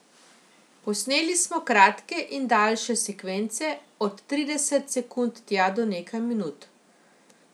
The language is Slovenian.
Posneli smo kratke in daljše sekvence, od trideset sekund tja do nekaj minut.